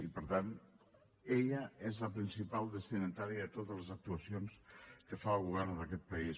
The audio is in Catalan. i per tant ella és la principal destinatària de totes les actuacions que fa el govern en aquest país